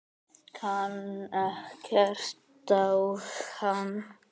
Kann ekkert á hann.